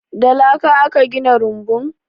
Da laka aka gina rumbun?